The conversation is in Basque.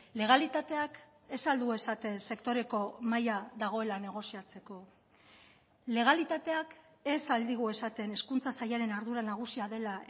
legalitateak ez al du esaten sektoreko mahaia dagoela negoziatzeko legalitateak ez al digu esaten hezkuntza sailaren ardura nagusia dela